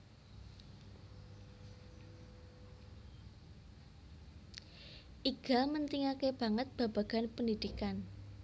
Iga mentingake banget babagan pendhidhikan